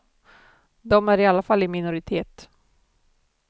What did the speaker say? De är i alla fall i minoritet.